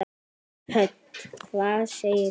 Hödd: Hvað segir þú?